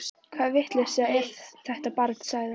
Hvaða vitleysa er þetta barn sagði